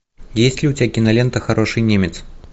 есть ли у тебя кинолента хороший немец